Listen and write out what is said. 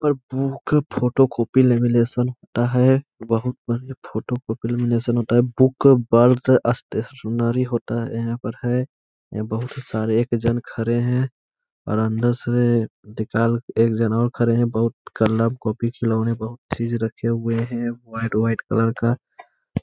पर book photocopy lamination होता है। बोहुत मंहगे फोटोकापी लेमिनैशन होता है। बुक बल्क अस्टेशनरी होता है। यहाँ पर है। यहाँ बोहुत सारे एक जन खड़े हैं और अंदर से दिकाल एक जना और खड़े हैं। बोहुत कलर कॉपी खिलौने बोहुत चीज रखे हुए हैं। वाइट वाइट कलर का --